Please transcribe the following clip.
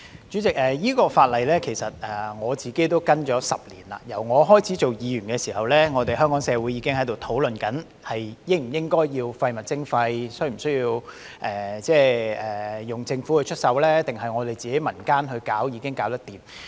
主席，我跟進了這項法例10年，由我開始擔任議員起，香港社會已經在討論應否推行廢物徵費，是否需要由政府出手，還是民間自行推動已能做到。